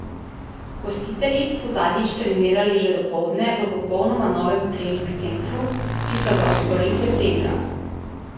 Gostitelji so zadnjič trenirali že dopoldne v popolnoma novem trening centru, ki so ga odprli septembra.